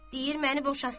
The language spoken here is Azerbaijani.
Deyir məni boşasın.